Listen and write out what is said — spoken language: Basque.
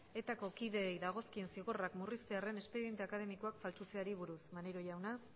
etako kideei dagozkien zigorrak murriztearren espediente akademikoak faltsutzeari buruz maneiro jauna